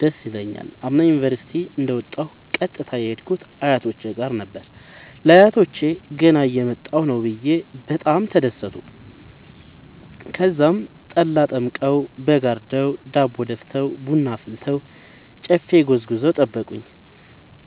ደስ ይለኛል። አምና ዩኒቨርሢቲ እንደ ወጣሁ ቀጥታ የሄድኩት አያቶቼ ጋር ነበር። ለአያቶቸ ገና እየመጣሁ ነዉ ብየ በጣም ተደሠቱ። ተዛም ጠላ ጠምቀዉ በግ አርደዉ ዳቦ ደፍተዉ ቡና አፍልተዉ ጨፌ ጎዝጉዘዉ ጠበቁኝ።